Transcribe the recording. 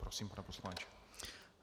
Prosím, pane poslanče.